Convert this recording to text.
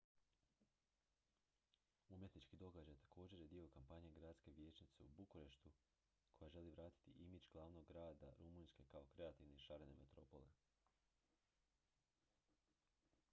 umjetnički događaj također je dio kampanje gradske vijećnice u bukureštu koja želi vratiti imidž glavnog grada rumunjske kao kreativne i šarene metropole